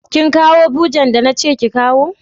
Kin kawo bujen da na ce ki kawo?